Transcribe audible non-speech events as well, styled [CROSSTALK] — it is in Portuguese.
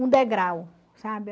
Um degrau, [UNINTELLIGIBLE]